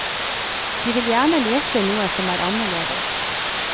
De vil gjerne lese noe som er annerledes.